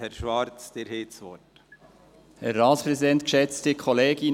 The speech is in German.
Herr Schwarz, Sie haben das Wort.